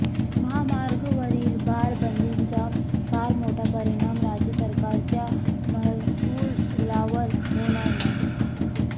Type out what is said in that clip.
महामार्गावरील बार बंदीचा फार मोठा परिणाम राज्य सरकारच्या महसुलावर होणार नाही